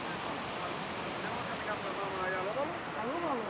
Oğurlayıb aparıblar, nəyə görə aparıblar?